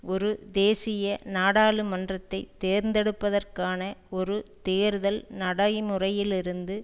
ஒரு தேசிய நாடாளுமன்றத்தை தேர்ந்தெடுப்பதற்கான ஒரு தேர்தல் நடைமுறையிலிருந்து